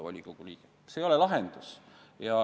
See ei ole lahendus.